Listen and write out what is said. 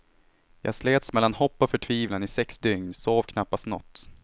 Jag slets mellan hopp och förtvivlan i sex dygn, sov knappast något.